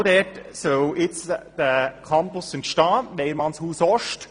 Genau dort soll jetzt dieser Campus entstehen: Weyermannshaus-Ost.